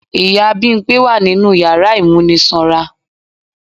Ìyá Bimpé wa ninú yàrá ìmúnisanra.